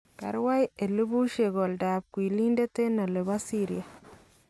Karwai elebusyeek oldab kwiliindet en Aleppo Syria